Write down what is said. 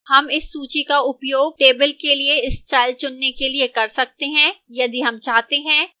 हम इस सूची का उपयोग table के लिए style चुनने के लिए कर सकते हैं यदि हम चाहते हैं